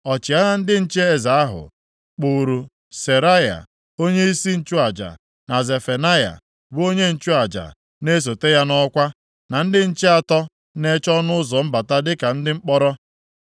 Ọchịagha ndị nche eze ahụ, kpụụrụ Seraya, onyeisi nchụaja, na Zefanaya, bụ onye nchụaja na-esote ya nʼọkwa, na ndị nche atọ na-eche ọnụ ụzọ mbata dịka ndị mkpọrọ.